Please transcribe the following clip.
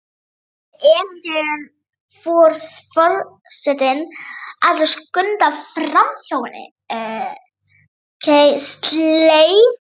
spyr Elín þegar for- setinn ætlar að skunda framhjá henni.